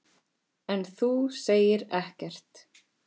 En þú segir ekkert.